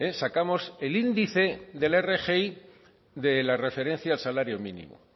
sacamos el índice de la rgi de la referencia al salario mínimo